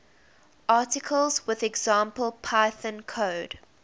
articles with example python code